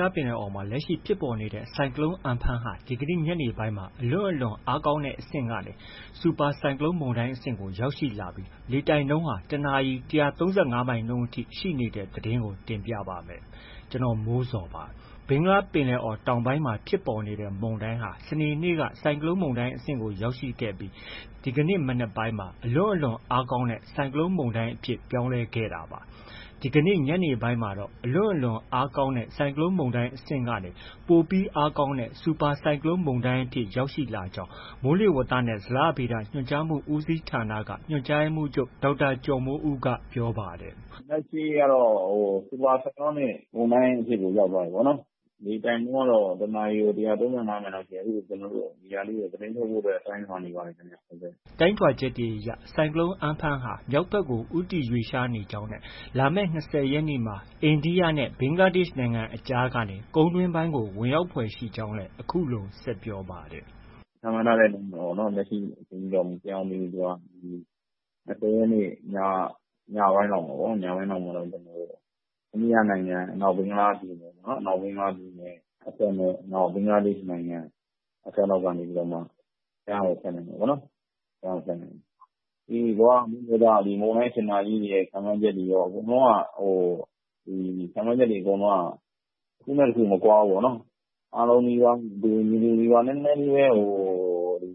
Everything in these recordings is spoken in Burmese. လားပင်လယ်အော်မှာ လက်ရှိဖြစ်ပေါ်နေတဲ့ ဆိုင်ကလုန်းမုန်တိုင်း Amphan ဟာ ဒီနေ့ ညနေပိုင်းမှာ အလွန့်အလွန်အားကောင်းတဲ့အဆင့်ကနေ စူပါဆိုင်ကလုန်းမုန်တိုင်းအဆင့်ကို ရောက်ရှိလာပြီး တစ်နာရီ ၁၃၅ မိုင်နှုန်းအထိ ရှိနေတဲ့သတင်းကို တင်ပြပါမယ်။ ဒီအကြောင်း ဗွီအိုအေမြန်မာပိုင်း သတင်းထောက် ကိုမိုးဇော်က ပြောပြပေးပါမယ်။ ဘင်္ဂလားပင်လယ်အော်တောင်ပိုင်းမှာ ဖြစ်ပေါ်နေတဲ့ ဆိုင်ကလုန်းမုန်တိုင်းဟာ စနေနေ့က ဆိုင်ကလုန်း မုန်တိုင်းအဆင့်ကို ရောက်ရှိခဲ့ပြီး ဒီကနေ့ မနက်ပိုင်းမှာ အလွန့်အလွန်အားကောင်းတဲ့ ဆိုင်ကလုန်းမုန်တိုင်း အဖြစ်ပြောင်းလဲခဲ့တာပါ။ ဒီကနေ့ ညနေပိုင်းမှာတော့ အလွန့်အလွန်အားကောင်းတဲ့ ဆိုင်ကလုန်းမုန်တိုင်းအဆင့်ကနေ ပိုပြီးအားကောင်းတဲ့ စူပါဆိုင်ကလုန်းမုန်တိုင်းအဖြစ် ရောက်ရှိလာကြောင်း မိုးလေဝသနဲ့ ဇလဗေဒ ညွှန်ကြားမှု ဦးစီးဌာနက ညွှန်ကြားရေးမှူးချုပ် ဒေါက်တာကျော်မိုးဦးက ပြောပါတယ်။ “လက်ရှိကတော့ Super Cyclonic မုန်တိုင်းအဆင့်ကို ရောက်သွားပြီပေါ့နော်။ လေတိုက်နှုန်းကတော့ တစ်နာရီကို ၁၃၅ မိုင်လောက်ရှိတယ်။ အဲဒါကို သတင်းထုတ်ဖို့ ကျနော်တို့ တိုင်းထွာနေပါတယ်။” တိုင်းထွာချက်တွေအရ ဆိုင်ကလုန်း Amphan ဟာ မြောက်ဘက်ကို ဦးတည်ရွှေ့လျားနေကြောင်းနဲ့ လာမယ့် ၂၀ ရက်နေ့မှာ အိန္ဒိယနဲ့ ဘင်္ဂလားဒေ့ရှ်နိုင်ငံအကြားကနေ ကုန်းတွင်းပိုင်းကို ဝင်ရောက်ဖွယ်ရှိကြောင်းလည်း အခုလို ဆက်ပြောပါတယ်။ "ခန့်မှန်းထားတဲ့အတိုင်းပဲပေါ့နော်။ လက်ရှိအချိန်အထိတော့ မပြောင်းသေးဘူး။ ၂၀ ရက်နေ့ည၊ ညပိုင်းလောက်မှာပေါ့။ အိန္ဒိယနိုင်ငံ အနောက်ဘင်္ဂလားပြည်နယ်အစပ်နဲ့ ဘင်္ဂလားဒေ့ရှ်နိုင်ငံ အစပ်လောက်ကနေပြီးတော့မှ ကမ်းကို ဖြတ်မယ်ပေါ့နော်။ ဒီ ကမ္ဘာမိုးလေဝသ၊ မုန်တိုင်းစင်တာကြီးတွေရဲ့ ခန့်မှန်းချက်တွေအရ အကုန်လုံးက တစ်ခုနဲ့ တစ်ခု မကွာဘူးပေါ့နော်။ အားလုံးလည်းပဲ တူညီပြီးသား နည်းနည်းလေးပဲ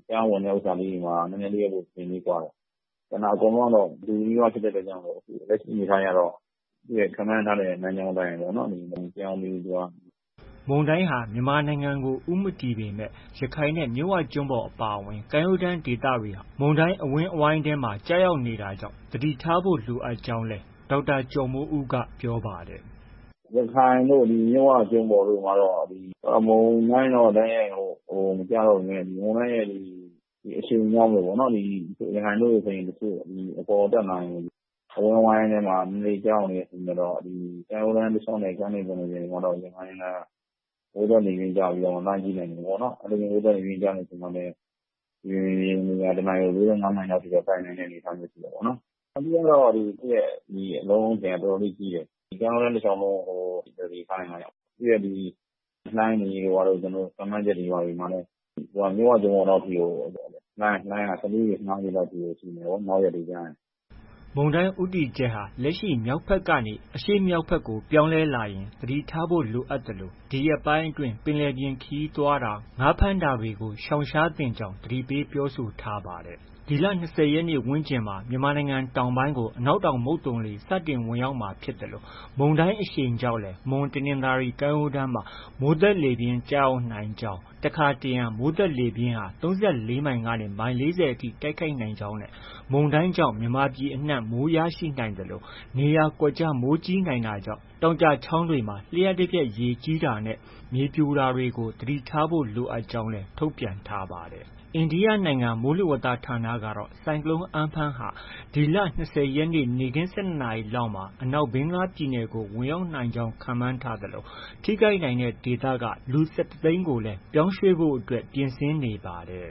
ကမ်းဝင်ဥစ္စာလေးတွေမှာ နည်းနည်းလေးပဲ အချိန်ကွာတယ်။ ကျန်တာ အကုန်နီးပါးအတူဖြစ်တဲ့အတွက်ကြောင့် လက်ရှိအနေအထားအရတော့ ခန့်မှန်းထားတဲ့ လမ်းကြောင်း မပြောင်းသေးဘူး။ ” မုန်တိုင်းဟာ မြန်မာနိုင်ငံကို ဦးမတည်ပေမဲ့ ရခိုင်နဲ့ မြစ်ဝကျွန်းပေါ်အပါအဝင် ကမ်းရိုးတမ်းဒေသတွေဟာ မုန်တိုင်းအဝန်းအဝိုင်းထဲမှာ ကျရောက်နေတာကြောင့် သတိထားကြဖို့လည်း ဒေါက်တာကျော်မိုးဦးက ပြောပါတယ်။ “ရခိုင်တို့ မြစ်ဝကျွန်းပေါ်တို့မှာတော့ မုန်တိုင်းတော့ တိုက်ရိုက် မကျရောက်ပေမဲ့ မုန်တိုင်းအရှိန်ကြောင့်ပေါ့။ ရခိုင်တို့ဆိုရင် အပေါ်တက်လာရင် အဝန်းအဝိုင်းထဲမှာ နည်းနည်းလေး ကျရောက်နေတဲ့အချိန်ကျတော့ ကမ်းရိုးတန်း တလျှောက်နဲ့ ကမ်းလွန်ပင်လယ်ပြင်တွေမှာတော့ ရံဖန်ရံခါ မိုးသက်လေပြင်းကျပြီး လှိုင်းပြင်းထန်မယ်ပေါ့။ အဲလို မိုးသက်လေပြင်းကျတဲ့အချိန်မှာလည်း မြေပြင်ရေပြင်လေဟာ တစ်နာရီ ၉၅ မိုင်လောက်အထိ တိုက်နိုင်တဲ့အနေအထားရှိတယ်ပေါ့နော်။ အဓိကကတော့ သူ့ရဲ့ အလုံးအထည်က အတော်လေး ကြီးတယ်။ ကမ်းရိုးတန်း တလျှောက်လုံး သတိထားနိုင်မှ ရမှာ။ သူရဲ့ဒီလှိုင်း ခန့်မှန်းချက်တွေမှာတော့ သူက မြစ်ဝကျွန်းပေါ်လောက်အထိမှာကို လှိုင်းက ၁၄ ပေ၊ ၁၅ပေလောက်အထိရှိမယ်။ နောက်ရက်တွေကျရင်။” မုန်တိုင်းဦးတည်ချက်ဟာ လက်ရှိမြောက်ဘက်ကနေ အရှေ့မြောက်ဘက်ကို ပြောင်းမယ်လာရင် သတိထားဖို့ လိုအပ်သလို ဒီရက်ပိုင်းအတွင်း ပင်လယ်ပြင်ခရီးသွားတာ၊ ငါးဖမ်းတာတွေကို ရှောင်ရှားသင့်ကြောင်း သတိပေးပြောဆိုထားပါတယ်။ ဒီလ ၂၀ရက်နေ့ဝန်းကျင်မှာ မြန်မာပြည် တောင်ပိုင်းကို အနောက်တောင်မုတ်သုန်လေ စတင်ဝင်ရောက်မှာဖြစ်သလို မုန်တိုင်းအရှိန်ကြောင့်လည်း မွန်၊တနင်္သာရီ ကမ်းရိုးတန်းမှာ မိုးသက်လေပြင်း ကျရောက်နိုင်ကြောင်း၊ တစ်ခါတစ်ရံ မိုးသက်လေပြင်းဟာ ၃၄ မိုင်ကနေ မိုင် ၄၀ထိ တိုက်ခတ်နိုင်ကြောင်းနဲ့ မုန်တိုင်းကြောင့် မြန်မာပြည်အနှံ့ မိုးရရှိနိုင်သလို နေရာကွက်ကျား မိုးကြီးနိုင်တာကြောင့် တောင်ကျချောင်းတွေမှာ လျှပ်တပြက် ရေကြီးတာနဲ့ မြေပြိုတာတွေကို သတိထားဖို့ လိုကြောင်းလည်း ထုတ်ပြန်ထားပါတယ်။ အိန္ဒိယနိုင်ငံ မိုးလေဝသဌာနကတော့ ဆိုင်ကလုန်း Amphan ဟာ ဒီလ ၂၀ ရက်နေ့ နေ့ခင်း ၁၂ နာရီလောက်မှာ အနောက်ဘင်္ဂလားပြည်နယ်ကို ဝင်ရောက်နိုင်ကြောင်း ခန့်မှန်ထားသလို ထိခိုက်နိုင်တဲ့ဒေသက လူ ၁၁ သိန်းကို ပြောင်းရွှေ့ဖို့ ပြင်ဆင်နေပါတယ်